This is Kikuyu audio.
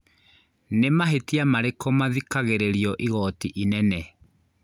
Nĩ mahĩtia marĩkũ mathikagĩrĩrio igoti inene